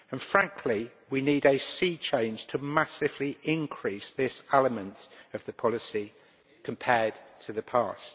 Frankly, we also need a sea change to massively increase this element of the policy compared to the past.